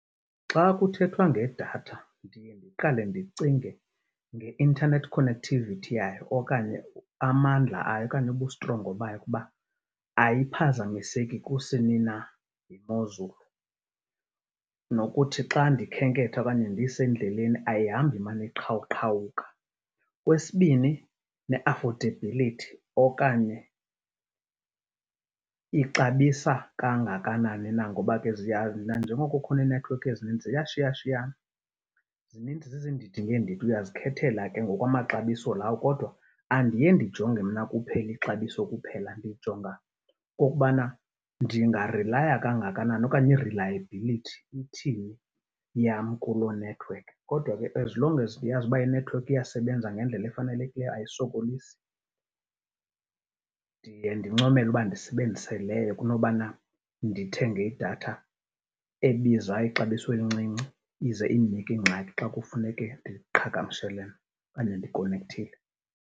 Xa kuthethwa ngedatha ndiye ndiqale ndicinge nge-internet connectivity yayo okanye amandla ayo okanye ubustrongo bayo ukuba ayiphazamiseki kusini na yimozulu nokuthi xa ndikhenketha okanye ndisendleleni ayihambi imane iqhawuqhawuka. Okwesibini, ne-affordability okanye ixabisa kangakanani na ngoba ke nanjengoko kukhona iinethiwekhi ezininzi ziyashiyashiyana. Zininzi zizindidi ngeendidi, uyazikhethela ke ngokwamaxabiso lawo. Kodwa andiye ndijonge mna kuphela ixabiso kuphela, ndijonga nokokubana ndingarilaya kangakanani okanye i-reliability ithini yam kuloo nethiwekhi. Kodwa ke as long as ndiyazi uba inethiwekhi iyasebenza ngendlela efanelekileyo ayisokolisi, ndiye ndincomele uba ndisebenzise leyo kunobana ndithenge idatha ebiza ixabiso elincinci, ize indinike ingxaki xa kufuneke ndiqhagamshelane okanye ndikonekthile.